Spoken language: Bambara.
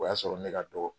O y'a sɔrɔ ne ka dɔgɔ